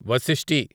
వశిష్టి